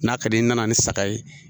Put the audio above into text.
N'a ka di n'i nana ni saga ye